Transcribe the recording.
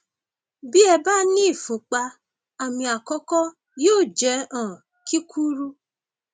bí ẹ bá ní ìfúnpá àmì àkọkọ yóò jẹ um kíkúrú